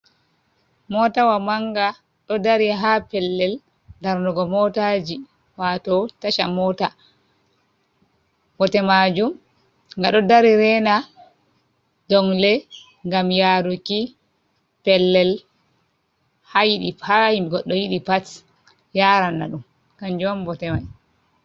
Motawa manga ɗo dari ha pellel darnugo motaji wato tacha mota, bote majum ga ɗo dari rena dongle gam yaruki pellel hayi ha bi goɗɗo yiɗi pat yarana ɗum kanjum on bote mai.